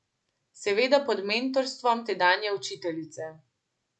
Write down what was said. Seveda pod mentorstvom tedanje učiteljice.